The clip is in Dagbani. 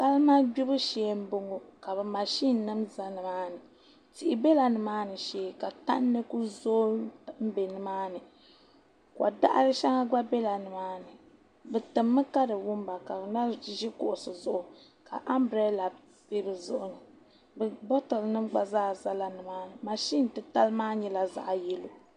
Salima gbibu shee n boŋo ka mashin nim ʒɛ nimaani tihi biɛla nimaani shee ka tandi ku zooi n bɛ nimaani ko daɣari shɛli gba biɛla nimaani bi timmi ka di wumba ka bi na ʒi kuɣusi zuɣu ka anbirɛla bi bi zuɣu bakɛt nim gba zaa ʒɛla nimaani mashin titali maa nyɛla zaɣ yɛlo